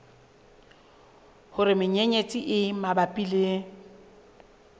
hore menyenyetsi e mabapi le